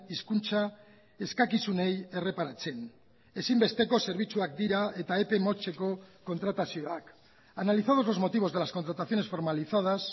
hizkuntza eskakizunei erreparatzen ezinbesteko zerbitzuak dira eta epe motzeko kontratazioak analizados los motivos de las contrataciones formalizadas